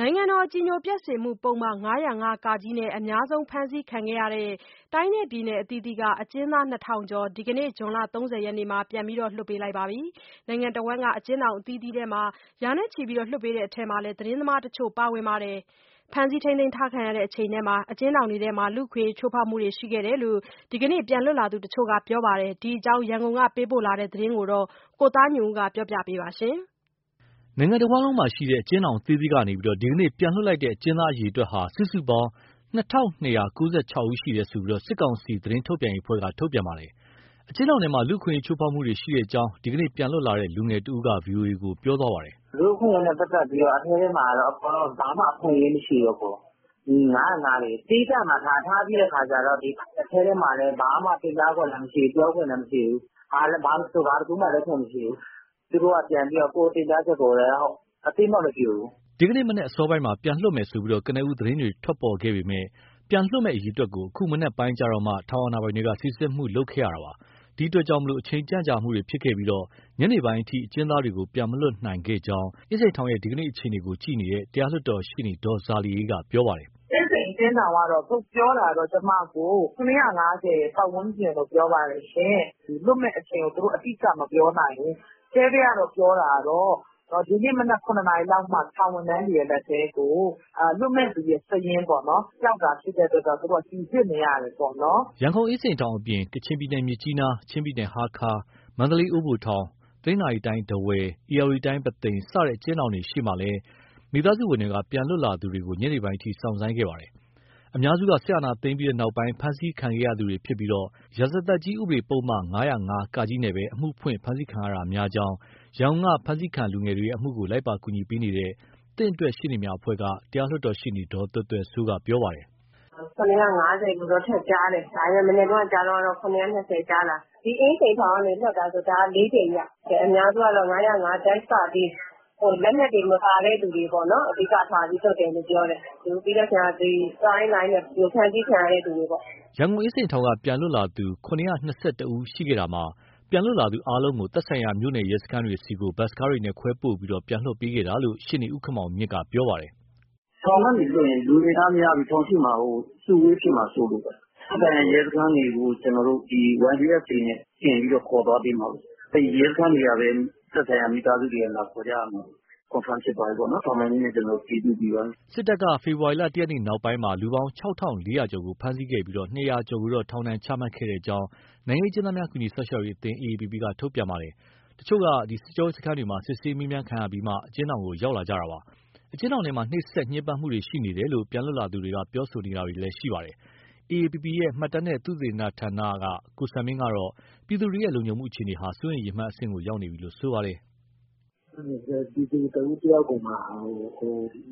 နိုင်ငံတော်အကြည်ညိုပျက်စေမှုပုဒ်မ ၅၀၅ (က) နဲ့ အများဆုံးဖမ်းဆီးခံရတဲ့ တိုင်းနဲ့ပြည်နယ် အသီးသီးက အကျဉ်းသား ၂၀၀၀ ကျော်ကို ဒီနေ့ဇွန်လ ၃၀ ရက်မှာ ပြန်လွှတ်ပေးလိုက်ပါတယ်။ အကျဉ်းထောင်အတွင်း လူ့အခွင့်အရေး ချိုးဖောက်မှုတွေရှိတယ်လို့ ဒီကနေ့ ပြန်လွတ်လာသူတချို့က ပြောပါတယ်။ ဒီအကြောင်း ရန်ကုန်ကပေးပို့လာတဲ့ ဒီသတင်းကိုတော့ ကိုသားညွန့်ဦး. ပြောပြပေးမှာပါ။ နိုင်ငံတဝန်းမှာရှိတဲ့ အကျဉ်းထောင်အသီးသီးကနေ ဒီနေ့ပြန်လွှတ်လိုက်တဲ့ အကျဉ်းသားအရေအတွက်ဟာ စုစုပေါင်း ၂၂၉၆ ယောက်ရှိတယ်လို့ စစ်ကောင်စီ သတင်းထုတ်ပြန်ရေးအဖွဲ့က ထုတ်ပြန်လိုက်တာပါ။ အကျဉ်းထောင်ထဲမှာ လူ့ခွင့်အရေးချိုးဖောက်မှုတွေရှိကြောင်း ဒီနေ့ပြန်လွတ်လာတဲ့ လူငယ်တဦးက ဗွီအိုအေကို ပြောပါတယ်။ " လူ့အခွင့်အရေးနဲ့ပတ်သက်ပြီး အထဲထဲမှာဘာမှ အခွင့်အရေးမရှိဘူး။ ဒီ ၅၀၅ တွေကို သီးသန့်မှာထားပြီးတော့ အထဲထဲမှာ ဘာမှပြောခွင့်လည်းမရှိဘူး တင်ပြခွင့်လည်းမရှိဘူး။ ဘာဆို ဘာတခုမှလုပ်ခွင့်မရှိဘူး။ သူတို့က ကိုယ်တင်ပြချက်ကိုလည်း အသိအမှတ်မပြုဘူး။" ဒီနေ့မနက်အစောပိုင်းမှာ ပြန်လွှတ်မယ်လို့ ကနဦး သတင်းတွေ ထွက်ပေါ်ခဲ့ပေမဲ့ ပြန်လွှတ်မယ့် အရေအတွက်ကို အခုမနက်ပိုင်းမှ ထောင်အာဏာပိုင်တွေက စိစစ်မှုတွေလုပ်ခဲ့ရတာပါ။ ဒီအတွက်ကြောင့် အချိန်ကြန့်ကြာမှုတွေဖြစ်ခဲ့ပြီး ညနေပိုင်းအထိ အကျဉ်းသားတွေကို ပြန်မလွှတ်နိုင်ခဲ့ကြောင်း အင်းစိန်ထောင်ရဲ့ ဒီနေ့အခြေအနေကို တရားလွှတ်တော်ရှေ့နေ ဒေါ်ဇာလီအေးက ပြောပြပါတယ်။ “ အင်းစိန်အကျဉ်းထောင်ကတော့ ထုတ်ပြောတာကတော့ ကျမကို ၇၅၀ ပတ်ဝန်းကျင်လို့ ပြောပါတယ်။ လွှတ်မယ့်အချိန်ကို သူတို့အတိအကျ မပြောနိုင်ဘူး။ အထဲက ပြောတာကတော့ ဒီနေ့မနက် ၇နာရီလောက်မှ ထောင်ဝန်ထမ်းတွေရဲ့ လက်ထဲကို လွှတ်မယ့်သူရဲ့ စာရင်းပေါ့နော် ရောက်တာဖြစ်တဲ့အတွက် စိစစ်နေရတယ်ပေါ့နော်။” ရန်ကုန်အင်းစိန်ထောင်အပြင် ကချင်ပြည်နယ် မြစ်ကြီးနား၊ ချင်းပြည်နယ် ဟားခါး၊ မန္တလေး အိုးဘို၊ တနင်္သာရီတိုင်း ထားဝယ်၊ ဧရာဝတီတိုင်း ပုသိမ် စတဲ့အကျဉ်းထောင်တွေရှေ့မှာလည်း မိသားစုဝင်တွေက ပြန်လွတ်လာသူတွေကို ညနေပိုင်းအထိ စောင့်ဆိုင်းခဲ့ရတာပါ။ အများစုက စစ်အာဏာသိမ်းပြီးနောက် ဖမ်းဆီးခံခဲ့ရသူတွေဖြစ်ပြီး ရာဇသတ်ကြီး ဥပဒေပုဒ်မ ၅၀၅ (က) နဲ့ပဲ အမှုဖွင့် ဖမ်းဆီးခံရတာဖြစ်ကြောင်း ရန်ကုန်က ဖမ်းဆီးခံလူငယ်တွေရဲ့အမှုကို လိုက်ပါကူညီပေးနေတဲ့ "သင့်အတွက်ရှေ့နေများအဖွဲ့" က တရားလွှတ်တော်ရှေ့နေ ဒေါ်သွယ်သွယ်စိုးက ပြောပါတယ်။ “ ( ရန်ကုန်က) ၇၅၀ လို့တော့ထပ်ကြားတယ်၊ ဒါပေမဲ့ မနက်တုန်းက ကြားတုန်းကတော့ ၇၂၀ ကြားတာ။ ဒီအင်းစိန်ထောင်ကနေ လွှတ်တာဆိုရင် ဒါ ၄ ကြိမ်မြောက်။ အများစုက ၅၀၅- က၊ လက်နက်တွေ မပါတဲ့သူတွေပေါ့နော် အဓိကထားပြီး လွှတ်တယ်လို့ကြားတယ်။ ပြီးရင် သွားရင်းလာရင်း ဖမ်းဆီးခံရတဲ့ သူတွေပေါ့။” ရန်ကုန်အင်းစိန်ထောင်က ပြန်လွတ်လာသူ ၇၂၁ ဦး ရှိခဲ့တာမှာ ပြန်လွတ်လာသူအားလုံးကို သက်ဆိုင်ရာ မြို့နယ်ရဲစခန်းတွေဆီ ဘတ်စ်ကားနဲ့ ခွဲပို့ပြီး ပြန်လွှတ်ပေးခဲ့တာလို့ ရှေ့နေ ဦးခင်မောင်မြင့်က ပြောပါတယ်။ “ ထောင်ကနေလွှတ်ရင် လူအင်အားများပြီး ထောင်ရှေ့မှာဟို အစုအဝေး ဖြစ်မှာစိုးလို့ပါ။ သက်ဆိုင်ရာ မြို့နယ်ရဲစခန်းတွေကို ကျနော်တို့ ဒီ YBS တွေနဲ့တင်ပြီး ခေါ်သွားပေးမှာပေါ့။ အဲဒီရဲစခန်းတွေကပဲ သက်ဆိုင်ရာ မိသားစုတွေက လာခေါ်ကြရမှာ။ Confirm ဖြစ်သွားပြီပေါ့နော်။ ထောက်လှမ်းရေးနဲ့ ကျနော်တို့ အတည်ပြုပြီးပါပြီ။” စစ်တပ်က ဖေဖော်ဝါရီ ၁ရက်နောက်ပိုင်းမှာ လူပေါင်း ၆၄၀၀ ကျော်ကို ဖမ်းဆီးခဲ့ပြီး ၂၀၀ ကျော်ကိုတော့ ထောင်ဒဏ်ချမှတ်ခဲ့ကြောင်း နိုင်ငံရေးအကျဉ်းသားများ ကူညီ စောင့်ရှောက်ရေးအသင်း AAPP က ထုတ်ပြန်ပါတယ်။ တချို့က စစ်ကြောရေးစခန်းတွေမှာ စစ်ဆေးမေးမြန်းခံရပြီးမှ အကျဉ်းထောင်ကို ရောက်လာကြတာပါ။ အကျဉ်းထောင်ထဲမှာ နှိပ်စက်ညှင်းပန်းမှုတွေ ရှိနေတယ်လို့ ပြန်လွတ်လာသူတွေက ပြောဆိုနေတာလည်း ရှိပါတယ်။ AAPP ရဲ့ မှတ်တမ်းနှင့် သုတေသနဌာနက ဦးစံမင်းကတော့ ပြည်သူတွေရဲ့ လုံခြုံမှုအခြေအနေဟာ စိုးရိမ်ရေမှတ်အဆင့်ကို ရောက်ရှိနေပြီလို့ ပြောပါတယ်။ “ မည်သူတဦးတယောက်ကိုမှ